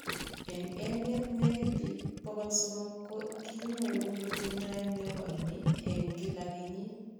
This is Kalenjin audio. Eng' emeet, negit biik 300 ko kinyoru kotindo tepo ni eng' kila kenyit.